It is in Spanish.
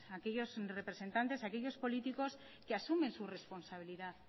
aquellos representantes aquellos políticos que asumen su responsabilidad